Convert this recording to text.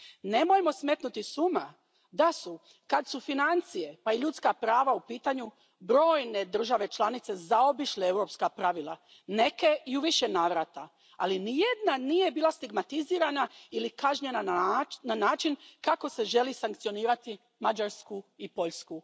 Nemojmo smetnuti s uma da su, kad su financije pa i ljudska prava u pitanju, brojne države članice zaobišle europska pravila, neke i u više navrata, ali nijedna nije bila stigmatizirana ili kažnjena na način kako se želi sankcionirati Mađarsku i Poljsku.